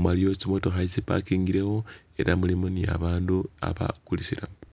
mu waliwo tsimotokha itsipakingilewo, ela mulimu ni babandu abakulisilamu.